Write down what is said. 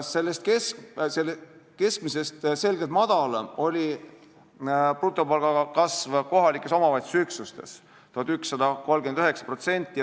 Sellest keskmisest selgelt madalam oli brutopalk kohaliku omavalitsuse üksustes: 1139 eurot.